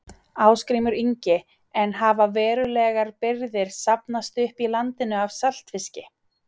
Ásgrímur Ingi: En hafa verulegar birgðir safnast upp í landinu af saltfiski?